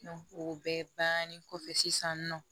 o bɛɛ bannen kɔfɛ sisan nɔn